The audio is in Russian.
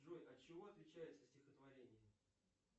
джой от чего отличается стихотворение